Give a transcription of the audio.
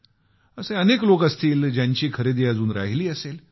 असे अनेक लोक असतील ज्यांची खरेदी अजून राहिली असेल